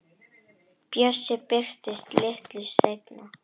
Bjössi birtist litlu seinna.